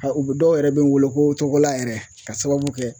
U bɛ dɔw yɛrɛ bɛ n wele ko Togola yɛrɛ ka sababu kɛ